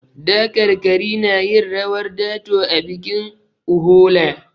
Dakarkari na yin rawar dato a bikin Uhola.